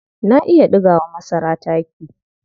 Na iya ɗiga wa masara taki.